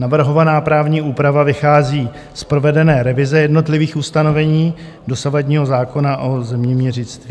Navrhovaná právní úprava vychází z provedené revize jednotlivých ustanovení dosavadního zákona o zeměměřictví.